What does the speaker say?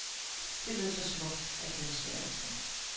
Det lød så smukt, at det var svært at tro.